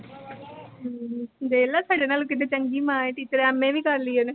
ਹਮ ਦੇਖਲਾ ਸਾਡੇ ਨਾਲੋਂ ਕਿੱਡੀ ਚੰਗੀ ਮਾਂ ਏ। teacher MA ਵੀ ਕਰਲੀ ਉਹਨੇ।